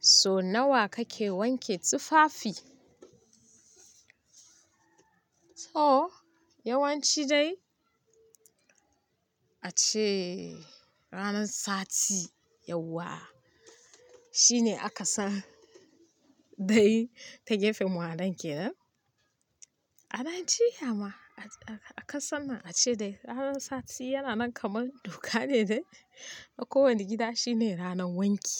So nawa kake wanke tufafi? To yawanci dai a ce ranar sati, yauwa shine aka san dai ta gefen mu anan kenan. A nan jiya ma aka san a ce dai ranar sati yana nan kamar doka ne dai a kowane gida shine ranar wanki.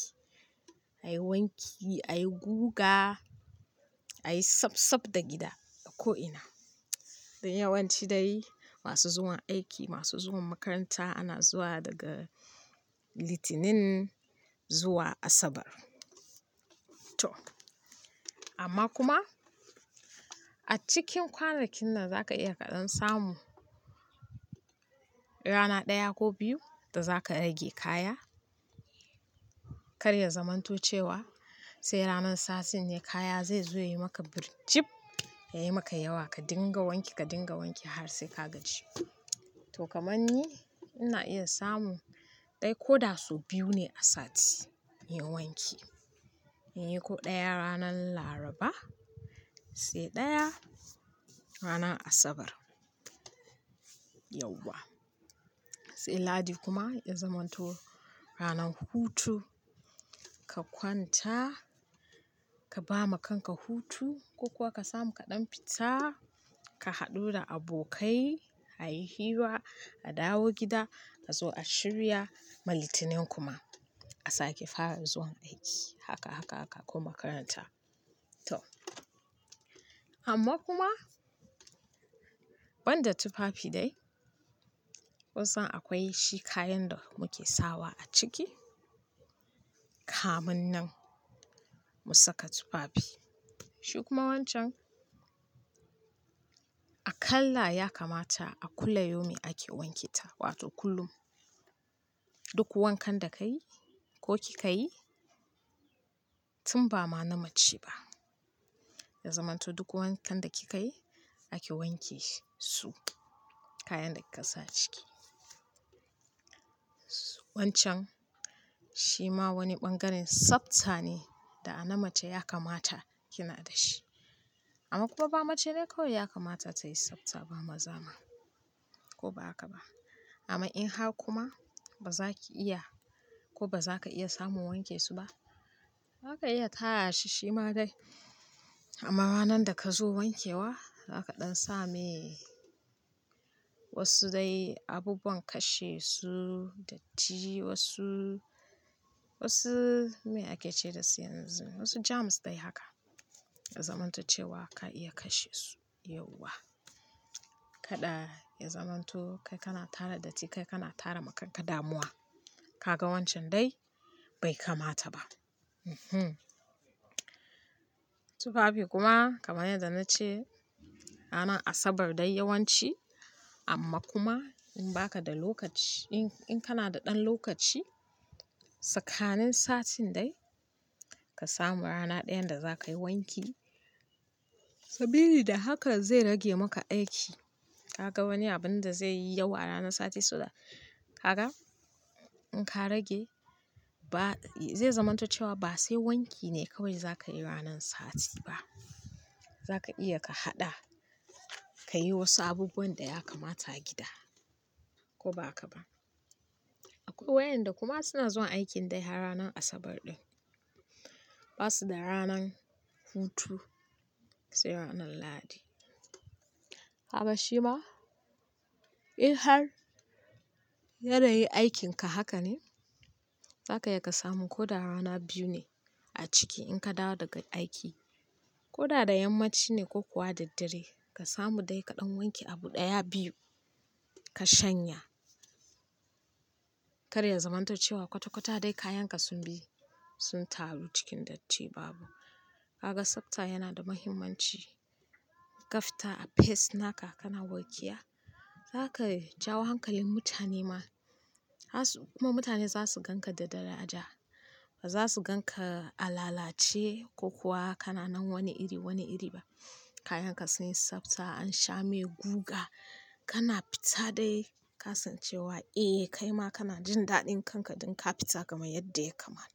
A yi wanki, a yi guga, a yi sab sab da gida a ko ina. Yawan ci dai masu zuwan aiki, masu zuwan makaranta ana zuwa daga litinin zuwa asabar. To amma kuma a cikin kwanakin nan za ka iya kaɗan samu rana ɗaya ko biyu da za ka rage kaya. Kar ya zamanto cewa sai ranar satin ne kaya zai zo ya yi maka birijib, ya yi maka yawa ka dinga wanke ka dinga wanke har sai ka gaji. To kamar ni ina iya samu dai ko da su biyu ne a sati yin wanki. In yi ko ɗaya ranar Laraba sai ɗaya ranar Asabar. Yauwa sai lahadi kuma ya zamanto ranar hutu. Ka kwanta ka ba ma kanka hutu ko kuwa ka samu kaɗan fita ka haɗu da abokai, a yi hira, a dawo gida ka zo a shirya ma litinin kuma a sake fara zuwan aiki. Haka, haka, haka kuma makaranta. To amma kuma banda tufafi dai kunsan akwai shi kayan da muke sawa a ciki. Kamun nan mu saka tufafi. Shi kuma wancan a kala ya kamata a kula yomi ake wanke ta. Wato kullum duk wankan da ka yi ko kika yi tun ba ma na mace ba. Ya zamanto duk wankan da kika yi ake wanke su kayan da kika sa ciki. Wancan shi ma wani bangaren tsafta ne da ana mace ya kamata kina da shi. Amma kuma ba mace dai kawai ya kamata ta yi tsafta ba, maza ma ko ba haka ba. Amma in har kuma ba za ki iya ko ba za ka iya samun wanke su ba, za ka iya tara shi shi ma dai. Amma ranar da ka zo wankewa za ka ɗan sa mai wasu dai abubuwan kashe su datti wasu, wasu me ake ce da su yanzu wasu jams dai haka. Ya zamanto cewa ka iya kashe su yauwa. Kada ya zamanto kai kana tara datti kai kana tara ma kanka damuwa. Ka ga wancan dai bai kamata ba. Mhm. Tufafi kuma kamar yadda na ce ranar Asabar dai yawanci amma kuma in ba ka da lokaci in-in kana da ɗan lokaci tsakanin satin dai ka samu rana ɗayan da za ka yi wanki. Sabili da haka zai rage maka aiki. Ka ga wani abin da zai yi yau a ranar sati suna kaga in ka rage ba zai zamanto cewa ba sai wanki ne kawai za ka yi ranan sati ba. Za ka iya ka haɗa ka yi wasu abubuwan da ya kamata gida ko ba haka ba. Akwai wayanda kuma suna zuwa aikin dai har ranar Asabar ɗin. Ba su da ranar hutu sai ranar lahadi. Haka shi ma in har yanayin aikin ka haka ne za ka iya ka samu ko da rana biyu ne a ciki in ka dawo daga aiki ko da da yammaci ne ko kuwa da dare ka samu dai kaɗan wanke abu ɗaya biyu ka shanya. Kar ya zamanto cewa kwata-kwata dai kayan ka sun bi sun taru cikin datti babu. Ka ga tsafta yana da muhimmanci. Ka fita a fes naka kana warkiya za ka yi jawon hankalin mutane ma. Kuma mutane za su gan ka da daraja ba za su gan ka a lalace ko kuwa kana nan wani iri, wani iri ba. Kayan ka sun yi tsafta an sha mai guga kana fita dai ka san cewa eh kai ma kana jin daɗin kanka ɗin ka fita kamar yadda ya kamata.